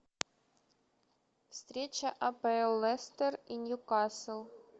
встреча апл лестер и ньюкасл